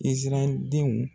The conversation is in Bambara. Isarayɛli denw